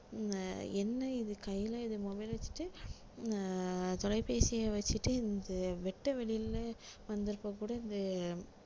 அஹ் என்ன இது கையில இத mobile வச்சுட்டு அஹ் தொலைபேசியை வச்சிட்டு இந்த வெட்டவெளியில வந்தப்ப கூட இந்த